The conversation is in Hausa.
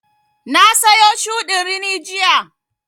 Na sayo shuɗin rini jiya